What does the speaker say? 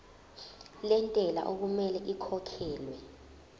lentela okumele ikhokhekhelwe